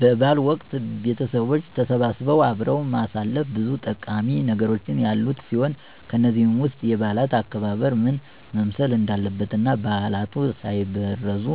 በ በዓል ወቅት ቤተቦች ተሰባስበው አብሮ ማሳለፍ ብዙ ጠቃሚ ነገሮች ያሉት ሲሆን ከነዚህም ውስጥ የበዓላት አከባበር ምን መምሰል እንዳለበት እና ባዕላት ሳይበረዙ